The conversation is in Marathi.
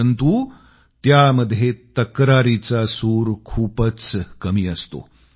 परंतु त्यामध्ये तक्रारीचा सूर खूपच कमी असतो